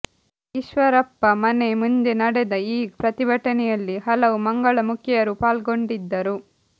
ಈಶ್ವರಪ್ಪ ಮನೆ ಮುಂದೆ ನಡೆದ ಈ ಪ್ರತಿಭಟನೆಯಲ್ಲಿ ಹಲವು ಮಂಗಳಮುಖಿಯರೂ ಪಾಲ್ಗೊಂಡಿದ್ದರು